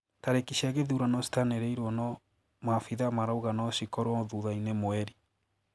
Tariki cia githurano citaniriirwo no maabitha marauga no cikorwo thutha-ini mweri